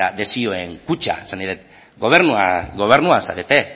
desioen kutxa esan nahi dut gobernua zarete